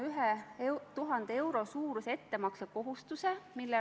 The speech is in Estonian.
Veel kord: Eestile on head liitlassuhted Prantsusmaaga üliolulised.